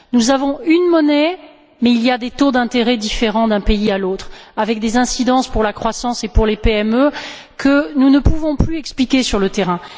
Nous avons une monnaie unique mais il y a des taux d'intérêt différents d'un pays à l'autre avec des incidences pour la croissance et pour les PME que nous ne pouvons plus expliquer sur le terrain.